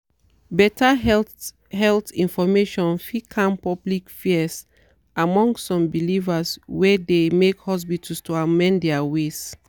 better health health information fit calm public fears among some believers wey de make hospitals to amend their ways.